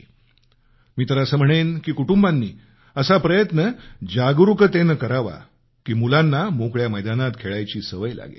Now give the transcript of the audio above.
मी तर असं म्हणेन की कुटुंबांनी असा प्रयत्न जागरूकतेनं करावा की मुलांना मोकळ्या मैदानात खेळायची सवय लागेल